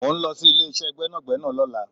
Mo ń lọ sí ilé ìṣe gbẹ́nàgbẹ́nà lọ́la